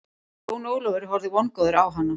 Jón Ólafur horfði vongóður á hana.